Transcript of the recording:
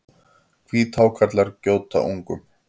Hvíthákarlar gjóta ungum.